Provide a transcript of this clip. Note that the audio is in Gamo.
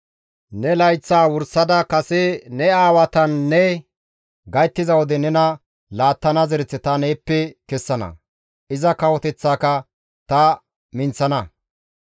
Ne layththaa wursada kase ne aawatanne gayttiza wode nena laattana zereth ta neeppe kessana; iza kawoteththaaka ta minththana.